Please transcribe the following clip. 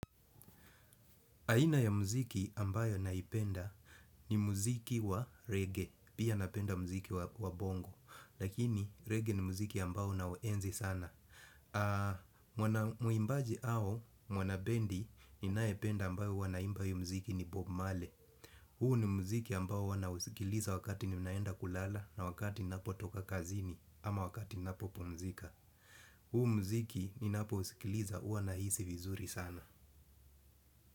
Aina ya muziki ambayo naipenda ni muziki wa reggae, pia napenda muziki wa bongo, lakini reggae ni muziki ambayo naoenzi sana. Mwimbaji au, mwana bendi, ninayependa ambayo huwa anaimba hii muziki ni bob marley. Huu ni muziki ambayo huwa nausikiliza wakati ninaenda kulala na wakati napotoka kazini ama wakati napopumzika. Huu muziki ninapousikiliza huwa nahisi vizuri sana.